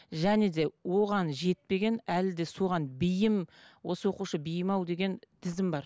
және де оған жетпеген әлі де соған бейім осы оқушы бейім ау деген тізім бар